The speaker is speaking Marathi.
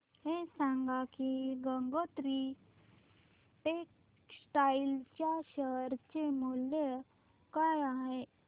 हे सांगा की गंगोत्री टेक्स्टाइल च्या शेअर चे मूल्य काय आहे